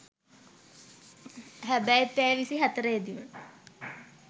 හැබැයි පැය විසි හතරෙදිම